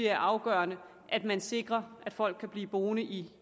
er afgørende at man sikrer at folk kan blive boende i